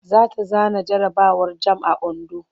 Za ta zana jarabawar jamb a Ondo.